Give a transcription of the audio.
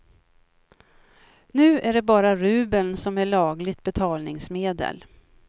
Nu är det bara rubeln som är lagligt betalningsmedel.